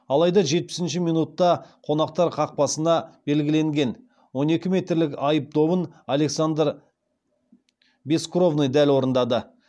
алайда жетпісінші минутта қонақтар қақпасына белгіленген он екі метрлік айып добын александр бескровный дәл орындады